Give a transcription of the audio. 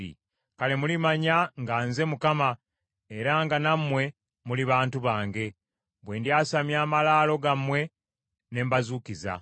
Kale mulimanya nga nze Mukama , era nga nammwe muli bantu bange, bwe ndyasamya amalaalo gammwe ne mbazuukiza.